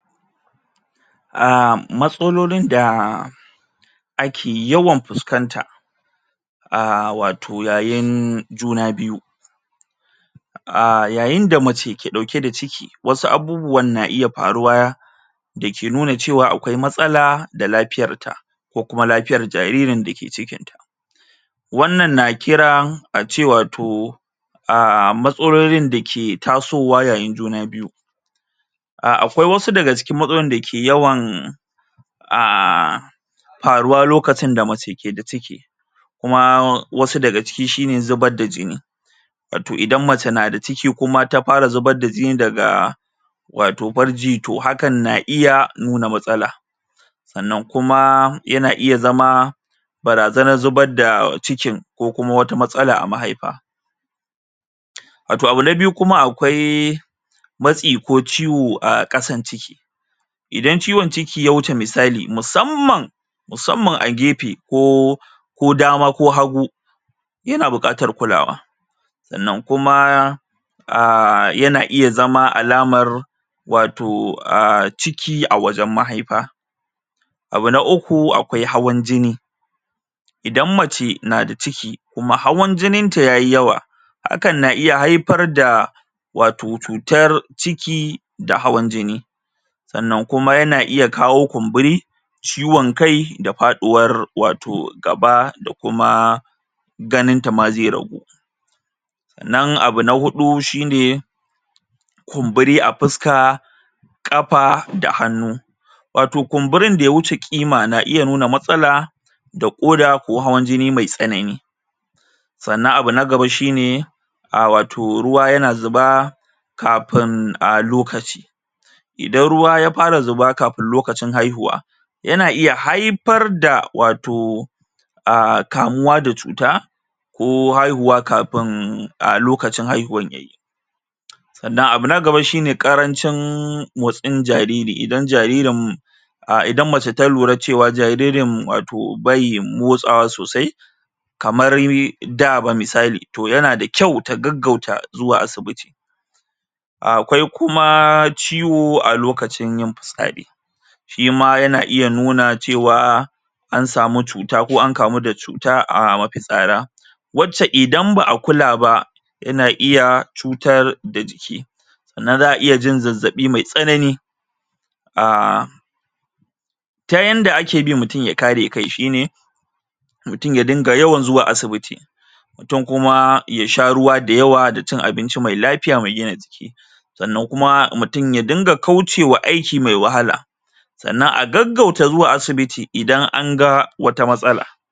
A matsalolin da ake yawan fusƙanta aaaa wato yayin juna biyu aaa yayin da mace ke ɗauke da ciki wasu abubuwan na iya faruwa da ke nuna cewa akwai lafiya da matsalan ta ko kuma lafiyan jaririn da ke cikin ta wannan na kiran a ce wato aaa matsalolin da ke tasowa yayin juna biyu a akwai wasu daga cikin matsalolin da ke yawan um faruwa lokacin da mace ke da ciki kuma wasu daga ciki shine zubar da jini wato idan mace na da ciki kuma ta fara zubar da jini daga wato farji toh hakan na iya nuna matsala sannan kuma yana iya zama barazanar zubar da cikin ko kuma wata matsala a mahaifa wato abu na biyu kuma akwai matsi ko ciwo a ƙasan ciki idan ciwon ciki ya wuce misali musamman musamman a gefe ko ko dama ko hagu yana buƙatar kulawa sannan kuma aaa yana iya zama alamar wato a ciki a wajen mahaifa abu na uku akwai hawan jini idan mace na da ciki kuma hawan jinin ta yayi yawa hakan na iya haifar da wato cutar ciki da hawan jini sannan kuma yana iya kawo kumburi ciwon kai da faɗuwar wato gaba da kuma ganin ta ma zai ragu sannan abu na huɗu shine kumburi a fuska ƙafa da hannu wato kumburin da ya wuce ƙima na iya nuna matsala da ƙoda ko hawan jini mai tsanani sannan abu na gaba shine a wato ruwa yana zuba kafin a lokaci idan ruwa ya fara zuba kafin lokacin haihuwa yana iya haifar da wato aaa kamuwa da cuta ko haihuwa kafin lokacin haihuwan ya yi sannan abu na gaba shine karancin motsin jariri idan jaririn a idan mace ta lura cewa jaririn wato bai motsawa sosai kamar da ba misali toh yana da kyau ta gaggauta zuwa asibiti akwai kuma ciwo a lokacin yin fitsari shima yana iya nuna cewa an samu cuta ko an kamu da cuta a mafitsara wacce idan ba a kula ba yana iya cutar da jiki sannan za a iya jin zazzabi mai tsanani um ta yanda ake bi mutum ya kare kai shine mutum ya dinga zuwa asibiti mutum kuma ya sha ruwa da yawa da cin abinci mai lafiya da gina jiki sannan kuma mutum ya dinga kauce ma aiki mai wahala sannan a gaggauta zuwa asibiti idan an ga wata matsala.